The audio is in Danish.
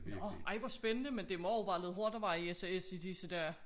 Nåh ej hvor spændende men det må og være lidt hårdt at være i SAS i disse dage